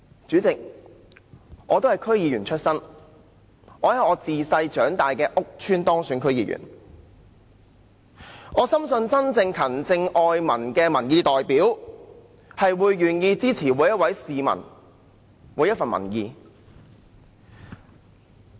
主席，我本身都是區議員，在自小長大的屋邨當選，深信真正勤政愛民的民意代表，會願意接納每一位市民的每一分意見。